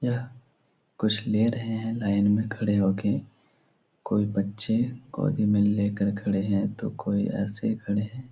यह कुछ ले रहे हैं लाइन मे खड़े हो के। कोई बच्चे गोदी मे लेके खड़े हैं तो कोई ऐसे ही खड़े हैं।